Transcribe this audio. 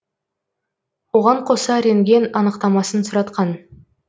оған қоса рентген анықтамасын сұратқан